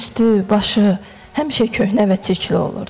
Üstü, başı həmişə köhnə və çirkli olurdu.